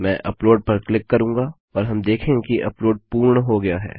मैं अपलोड पर क्लिक करूँगा और हम देखेंगे कि अपलोड पूर्ण हो गया है